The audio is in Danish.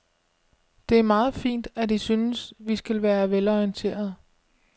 Det er meget fint, at I synes, vi skal være velorienterede.